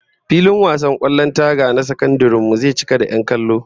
Filin wasan kwallon taga na sakandaren mu zai cika da 'yan kallo